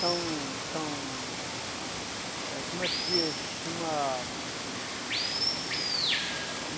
Então, são, eh como é que se diz? Uma...